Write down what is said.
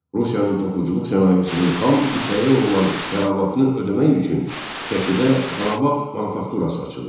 Rusiyanın toxuculuq sənayesinin xam ipəyə olan tələbatını ödəmək üçün Şəkidə Xanabad manufakturası açıldı.